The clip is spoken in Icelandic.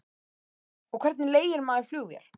Jóhann: Og hvernig leigir maður flugvél?